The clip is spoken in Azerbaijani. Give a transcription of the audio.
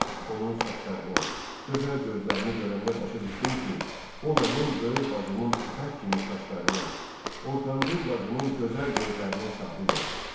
Onun saçlarını, gözəl gözlərini görəndə başa düşdüm ki, o mənim böyük bacımın ipək kimi saçlarına, ortancıl bacımın gözəl gözlərinə sahib olub.